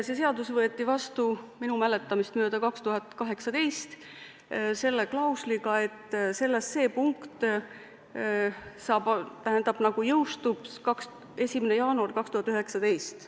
See seadus võeti vastu minu mäletamist mööda 2018, selle klausliga, et see punkt jõustub 1. jaanuaril 2019.